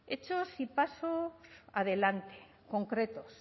hechos y pasos adelante concretos